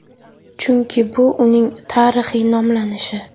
Chunki bu uning tarixiy nomlanishi.